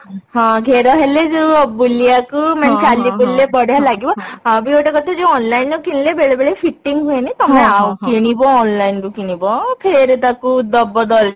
ହଁ ଘେର ହେଲେ ଯୋଉ ବୁଲିବାକୁ ଚାଲି ବୁଲିଲେ ବଢିଆ ଲାଗିବ ଆଉ ବି ଗୋଟେ କଥା ଯୋଉ online ରେ କିଣିଲେ ବେଳେ ବେଳେ fitting ହୁଏନି ତମେ କିଣିବ online ରୁ କିଣିବ ଫେରେ ତାକୁ ଦବ ଦର୍ଜି